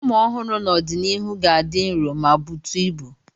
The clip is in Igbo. Ụmụ ọhụrụ n'ọdịnihu ka ga-adị nro ma butu ibu.